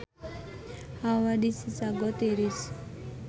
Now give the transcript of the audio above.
Hawa di Chicago tiris